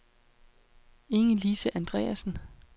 Inge-Lise Andreasen